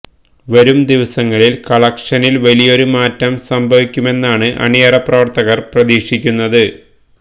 വരും ദിവസങ്ങളില് കളക്ഷനില് വലിയൊരു മാറ്റം സംഭവിക്കുമെന്നാണ് അണിയറ പ്രവര്ത്തകര് പ്രതീക്ഷിക്കുന്നത്